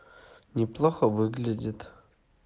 неплохо выглядит